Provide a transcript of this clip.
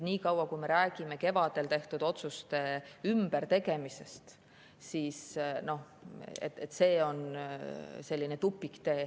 Nii kaua, kui me räägime kevadel tehtud otsuste ümbertegemisest, on see selline tupiktee.